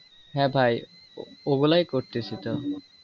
হ্যা ভাই ও গুলা করতেছি তো।